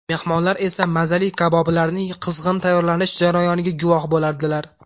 Mehmonlar esa mazali kaboblarning qizg‘in tayyorlanish jarayoniga guvoh bo‘ladilar.